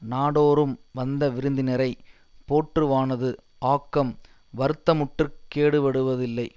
நாடோறும் வந்தவிருந்தினரை போற்றுவானது ஆக்கம் வருத்தமுற்றுக் கேடுவடுவதில்லை